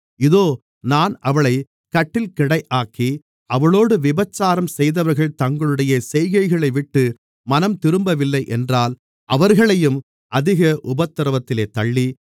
இதோ நான் அவளைக் கட்டில்கிடையாக்கி அவளோடு விபசாரம் செய்தவர்கள் தங்களுடைய செய்கைகளைவிட்டு மனம்திரும்பவில்லை என்றால் அவர்களையும் அதிக உபத்திரவத்திலே தள்ளி